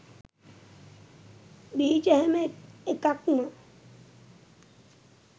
බීජ හැම එකක්ම